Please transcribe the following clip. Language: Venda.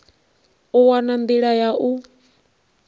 u wana nḓila ya u